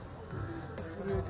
Fərqli şeylərdir burda.